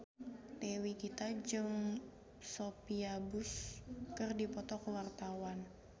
Dewi Gita jeung Sophia Bush keur dipoto ku wartawan